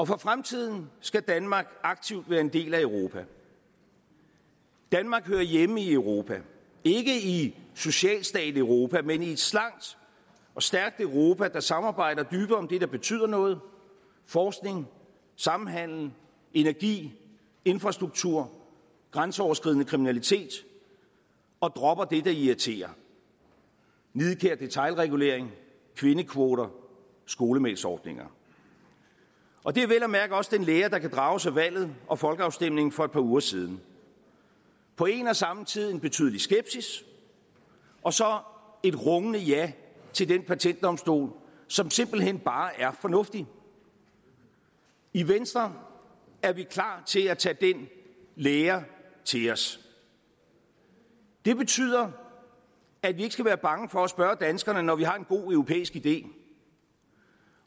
for fremtiden skal danmark aktivt være en del af europa danmark hører hjemme i europa ikke i socialstateuropa men i et slankt og stærkt europa der samarbejder dybere om det der betyder noget forskning samhandel energi infrastruktur grænseoverskridende kriminalitet og dropper det der irriterer nidkær detailregulering kvindekvoter skolemælksordninger og det er vel at mærke også den lære der kan drages af valget og folkeafstemningen for et par uger siden på en og samme tid en betydelig skepsis og så et rungende ja til den patentdomstol som simpelt hen bare er fornuftig i venstre er vi klar til at tage den lære til os det betyder at vi ikke skal være bange for at spørge danskerne når vi har en god europæisk idé